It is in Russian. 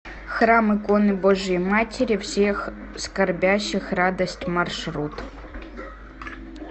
храм иконы божией матери всех скорбящих радость маршрут